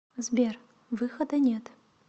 сбер выхода нет